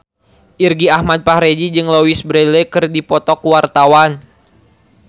Irgi Ahmad Fahrezi jeung Louise Brealey keur dipoto ku wartawan